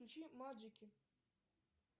включи маджики